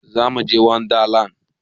Zamuje wanda land